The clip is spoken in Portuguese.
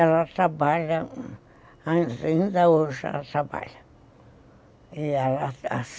Ela trabalha, ainda hoje ela trabalha